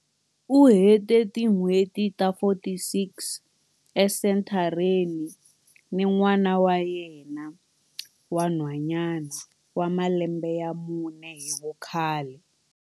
U hete tin'hweti ta 46 esenthareni ni n'wana wa yena wa nhwanyana wa malembe ya mune hi vukhale.